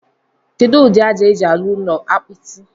Kedu udi aja eji arụ ụlọ apiti?